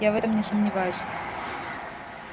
я в этом не сомневаюсь